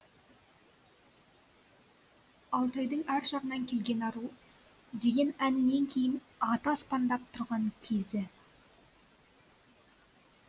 алтайдың ар жағынан келген ару деген әнінен кейін аты аспандап тұрған кезі